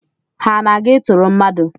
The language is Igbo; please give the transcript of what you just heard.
Ha ana-aga ịtụrụ mmadụ?